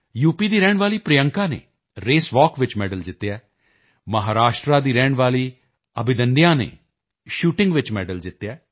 ਦੀ ਰਹਿਣ ਵਾਲੀ ਪ੍ਰਿਯੰਕਾ ਨੇ ਰੇਸਵਾਕ ਵਿੱਚ ਮੈਡਲ ਜਿੱਤਿਆ ਹੈ ਮਹਾਰਾਸ਼ਟਰ ਦੀ ਰਹਿਣ ਵਾਲੀ ਅਭਿਦੰਨਿਯਾ ਨੇ ਸ਼ੂਟਿੰਗ ਵਿੱਚ ਮੈਡਲ ਜਿੱਤਿਆ ਹੈ